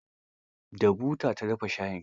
Da buta ta dafa shayin.